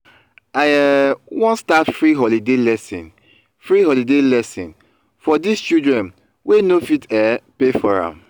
i um wan start free holiday lesson free holiday lesson for dis children wey no fit um pay for am